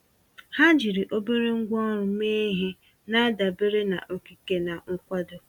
Ha jiri obere ngwá ọrụ mee ihe, na-adabere na okike na nkwado.